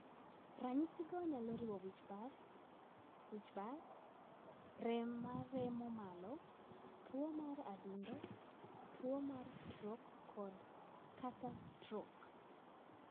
Ranyisigo nyalo riwo wich bar, wich bar, rem mar remo malo, tuo mar adundo, tuwo mar strok kod/ kata stroke.